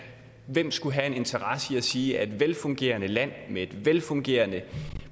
hvem skulle have en interesse i at sige at det der velfungerende land med et velfungerende